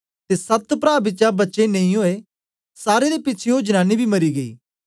ते सात प्रा बिचा बच्चे नेई होए सारे दे पिछें ओ जनानी बी मरी गेई